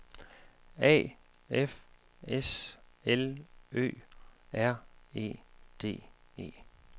A F S L Ø R E D E